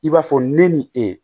I b'a fɔ ne ni e